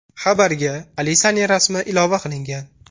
Xabarga Alisaning rasmi ilova qilingan.